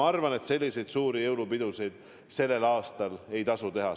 Ma arvan, et selliseid suuri jõulupidusid sellel aastal ei tasu teha.